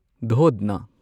ꯗꯨꯙꯅ